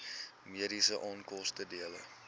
mediese onkoste dele